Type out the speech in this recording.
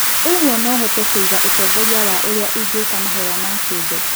ũguo, no hote kũgia ũtongoria wa ũrĩa ingĩka mahoya ma kĩũmbe?